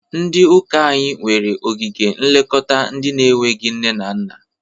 Ndị ụka anyị nwere ogige nlekọta ndị na-enweghi nne na nna.